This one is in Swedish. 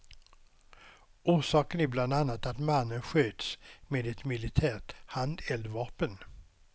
Orsaken är bland annat att mannen sköts med ett militärt handeldvapen.